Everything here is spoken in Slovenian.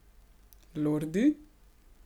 Lordi?